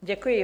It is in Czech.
Děkuji.